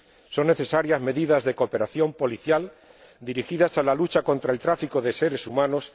Son necesarias medidas de cooperación policial dirigidas a la lucha contra el tráfico de seres humanos.